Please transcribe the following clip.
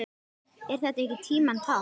Er þetta ekki tímanna tákn?